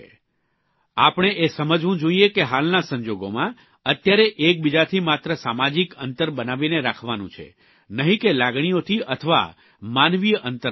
આપણે એ સમજવું જોઇએ કે હાલના સંજોગોમાં અત્યારે એકબીજાથી માત્ર સામાજીક અંતર બનાવીને રાખવાનું છે નહિં કે લાગણીઓથી અથવા માનવીય અંતર રાખવાનું છે